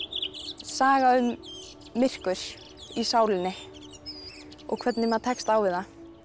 saga um myrkur í sálinni og hvernig maður tekst á við það